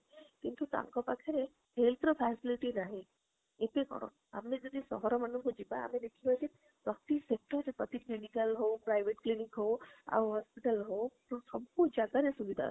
କିନ୍ତୁ ତାଙ୍କ ପାଖରେ ର facility ନାହିଁ ଏଠି କଣ ଆମେ ଯଦି ସହର ମନକୁ ଯିବା ଆମେ ଦେଖିବା ଯେ ପ୍ରତି sector ରେ ପ୍ରତି clinical ହାଉ private clinic ହାଉ ଆଉ hospital ହାଉ, ସବୁ ଜାଗାରେ ସୁବିଧା ଅଛି